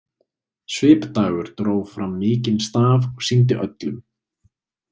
Svipdagur dró fram mikinn staf og sýndi öllum.